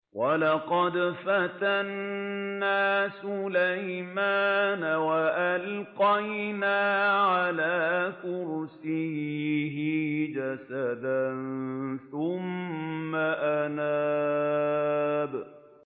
وَلَقَدْ فَتَنَّا سُلَيْمَانَ وَأَلْقَيْنَا عَلَىٰ كُرْسِيِّهِ جَسَدًا ثُمَّ أَنَابَ